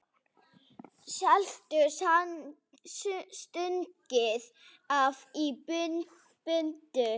Seðlum stungið ofan í buddu.